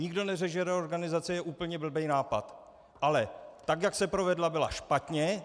Nikdo neřekl, že reorganizace je úplně blbý nápad, ale tak jak se provedla, byla špatně.